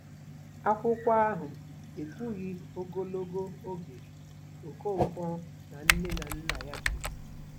Akwụkwọ ahụ ekwughị ogologo oge Okonkwo na nne na nna ya biri.